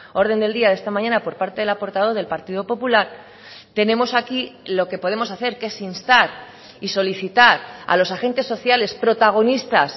orden del día de esta mañana por parte de la portavoz del partido popular tenemos aquí lo que podemos hacer que es instar y solicitar a los agentes sociales protagonistas